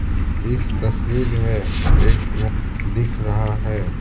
इस तस्वीर में एक दिख रहा है।